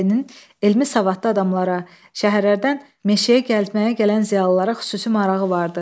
Meşəbəyinin elmi-savadlı adamlara, şəhərlərdən meşəyə gəlməyə gələn ziyalılara xüsusi marağı vardı.